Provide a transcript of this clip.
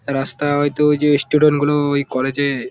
রাস্তা হয়তো যে স্টুডেন্ট -গুলোএই কলেজ -এ--